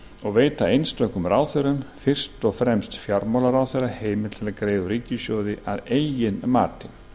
og veita einstökum ráðherrum fyrst og fremst fjármálaráðherra heimild til að greiða úr ríkissjóði að eigin mati